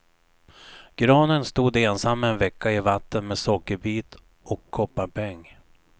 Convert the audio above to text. Granen stod ensam en vecka i vatten med sockerbit och kopparpeng.